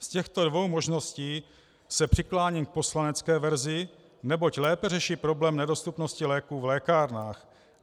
Z těchto dvou možností se přikláním k poslanecké verzi, neboť lépe řeší problém nedostupnosti léků v lékárnách.